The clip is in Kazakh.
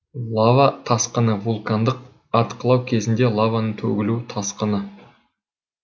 лава тасқыны вулкандық атқылау кезінде лаваның төгілу тасқыны